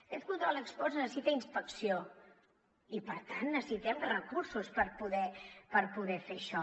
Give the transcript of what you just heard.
aquest control ex post necessita inspecció i per tant necessitem recursos per poder fer això